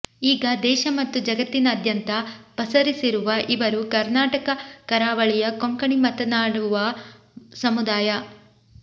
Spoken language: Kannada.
ಈಗ ದೇಶ ಮತ್ತು ಜಗತ್ತಿನಾದ್ಯಂತ ಪಸರಿಸಿರುವ ಇವರು ಕರ್ನಾಟಕ ಕರಾವಳಿಯ ಕೊಂಕಣಿ ಮಾತನಾಡುವ ಸಮುದಾಯ